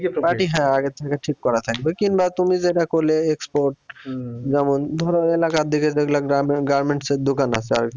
party হ্যাঁ আগের থেকে ঠিক করা থাকবে কিংবা তুমি যেটা করলে export যেমন ধরো এলাকার দিকে যেগুলা garment~garments এর দোকান আছে আরকি